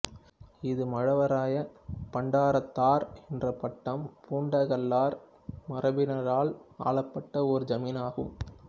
இது மழவராய பண்டாரத்தார் என்ற பட்டம் பூண்ட கள்ளர் மரபினரால் ஆளப்பட்ட ஒரு ஜமீன் ஆகும்